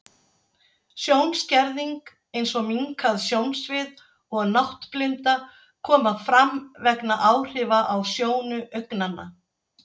Sjónskerðing, eins og minnkað sjónsvið og náttblinda, koma fram vegna áhrifa á sjónu augnanna.